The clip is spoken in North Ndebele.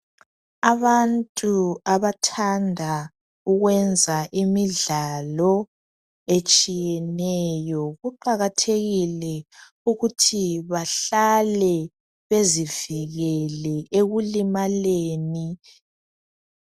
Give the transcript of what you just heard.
Abantu abathanda ukwenza imidlalo etshiyeneyo, kuqakathekile ukuthi bahlale bezivikele ekulimaleni.